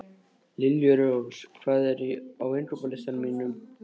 Liljurós, hvað er á innkaupalistanum mínum?